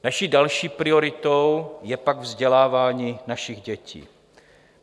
Naší další prioritou je pak vzdělávání našich dětí.